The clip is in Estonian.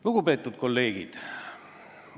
Lugupeetud kolleegid!